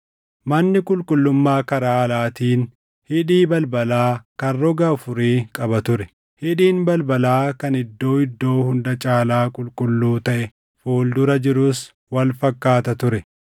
Manni qulqullummaa karaa alaatiin hidhii balbalaa kan roga afurii qaba ture; hidhiin balbalaa kan Iddoo Iddoo Hunda Caalaa Qulqulluu taʼe fuuldura jirus wal fakkaata ture.